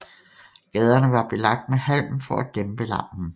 Gaderne var belagt med halm for at dæmpe larmen